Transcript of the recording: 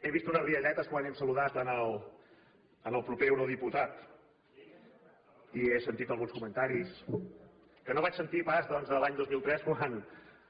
he vist unes rialletes quan hem saludat el proper eurodiputat i he sentit alguns comentaris que no vaig sentir pas doncs l’any dos mil tres quan